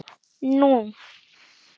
Nú